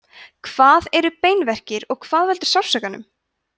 hvað eru beinverkir og hvað veldur sársaukanum